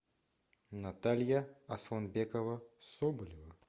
наталья асламбекова соболева